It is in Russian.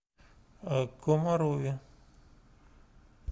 комарове